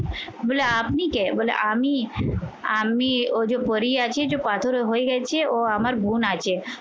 বলে আপনি কে? বলে আমি আমি ও যে পরি আছে যে পাথরে হয়ে গেছে ও আমার বোন আছে